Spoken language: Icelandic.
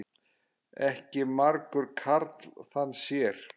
Ekki margur karl þann sér.